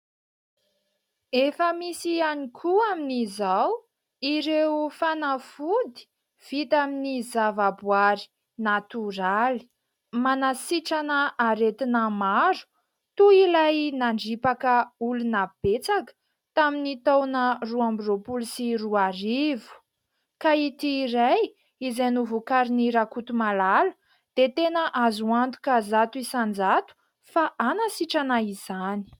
efa misy ihany koa amin'izao ireo fanafody vita amin'ny zava-boary natoraly ;manasitrana aretina maro toy ilay nandripaka olona betsaka tamin'ny taona roa amby roapolo sy roarivo ka ity iray izay novokarin'i Rakotomalala dia tena azo antoka zato isan-jato fa hanasitrana izany